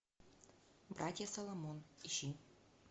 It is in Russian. братья соломон ищи